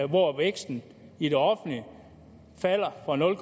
hvor væksten i det offentlige falder fra nul